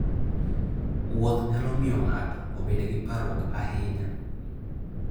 Wuoth nyalo miyo ng'ato obed gi parruok ahinya.